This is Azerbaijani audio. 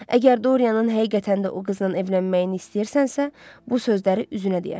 Əgər Doryanın həqiqətən də o qızla evlənməyini istəyirsənsə, bu sözləri üzünə deyərsən.